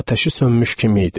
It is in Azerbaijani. Atəşi sönmüş kimi idi.